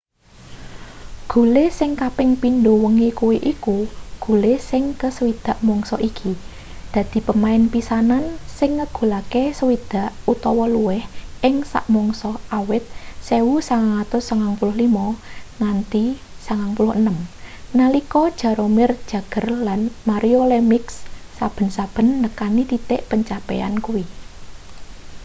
gule sing kaping pindho wengi kuwi iku gule sing ke 60 mangsa iki dadi pemain pisanan sing ngegulake 60 utawa luwih ing sak mangsa awit 1995-96 nalika jaromir jagr lan mario lemieux saben-saben nekani titik pencapaian kuwi